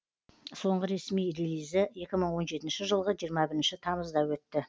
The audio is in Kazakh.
соңғы ресми релизі екі мың он жетінші жылғы жиырма бірінші тамызда өтті